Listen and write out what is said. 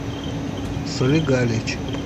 солигалич